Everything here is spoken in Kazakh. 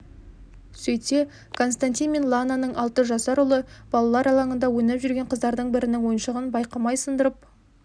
сөйтсе константин мен лананың алты жасар ұлы балалар алаңында ойнап жүрген қыздардың бірінің ойыншығын байқамай сындырып